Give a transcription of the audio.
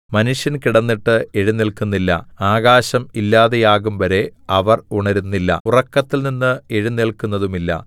മനുഷ്യൻ കിടന്നിട്ട് എഴുന്നേല്ക്കുന്നില്ല ആകാശം ഇല്ലാതെയാകുംവരെ അവർ ഉണരുന്നില്ല ഉറക്കത്തിൽനിന്ന് എഴുന്നേല്ക്കുന്നതുമില്ല